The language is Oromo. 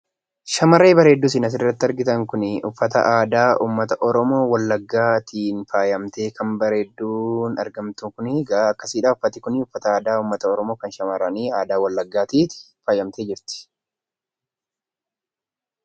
Shamarree bareedduu isin asirratti argitan kunii uffata aadaa ummata Oromoo Wallaggaatiin faayamtee kan bareedduun argamtu kunigaa akkasi dha. Uffati kunii uffata aadaa ummata Oromoo kan shamarranii aadaa Wallaggaatiin faayamtee jirti.